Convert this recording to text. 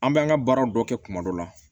An bɛ an ka baaraw dɔ kɛ kuma dɔ la